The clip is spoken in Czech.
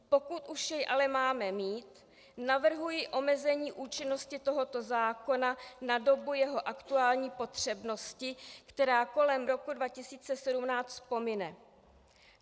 Pokud už jej ale máme mít, navrhuji omezení účinnosti tohoto zákona na dobu jeho aktuální potřebnosti, která kolem roku 2017 pomine.